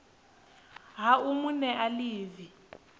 ha u mu nea ḽivi